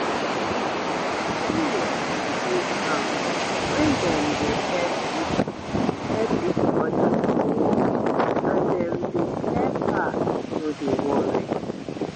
um area go dey calm wen dem dey help each help each other for work and dem dey help her no dey worry